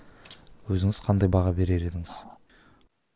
өзіңіз қандай баға берер едіңіз